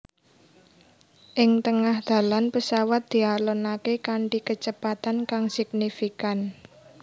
Ing tengah dalan pesawat dialonaké kanthi kecepatan kang signifikan